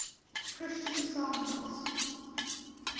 christian songs